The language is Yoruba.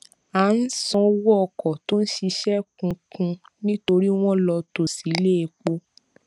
a n san owo oko to n sise kun kun nitori won lo to si ile epo